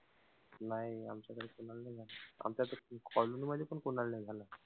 नाही आमच्याकडे कोणालाही नाही झाला, आमच्याकडे colony मध्ये पण कोणालाही नाही झाला.